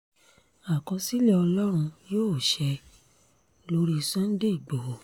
àkọsílẹ̀ ọlọ́run yóò ṣe lórí sunday ìgbóhò